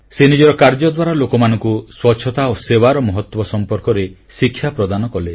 ସେ ନିଜର କାର୍ଯ୍ୟ ଦ୍ୱାରା ଲୋକମାନଙ୍କୁ ସ୍ୱଚ୍ଛତା ଓ ସେବାର ମହତ୍ୱ ସମ୍ପର୍କରେ ଶିକ୍ଷା ପ୍ରଦାନ କଲେ